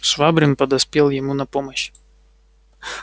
швабрин подоспел ему на помощь